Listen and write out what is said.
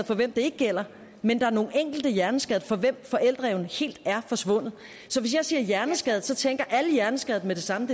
for hvem det ikke gælder men der er nogle enkelte hjerneskadede for hvem forældreevnen helt er forsvundet så hvis jeg siger hjerneskadet tænker alle hjerneskadede med det samme